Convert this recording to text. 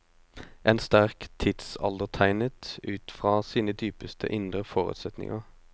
En sterk tidsaldertegnet ut fra sine dypeste indre forutsetninger.